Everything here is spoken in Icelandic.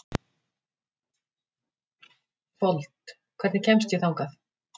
Fold, hvernig kemst ég þangað?